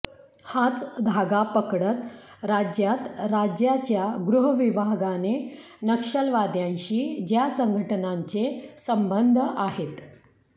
हाच धागा पकडत राज्यात राज्याच्या गृहविभागाने नक्षलवाद्यांशी ज्या संघटनांचे संबंध आहेत